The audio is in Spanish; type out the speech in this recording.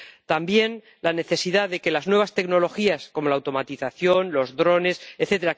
También destacamos la necesidad de que las nuevas tecnologías como la automatización, los drones, etc.,